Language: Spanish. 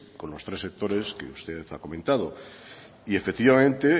con los tres sectores que usted ha comentado y efectivamente